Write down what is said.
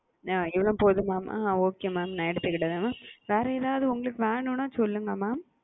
அ இவ்ளோ போதுமா மா அ okay mam நான் எடுத்துகிடேன் வேற எத்து உங்களுக்கு வேணுனா சொல்லுங்க mam?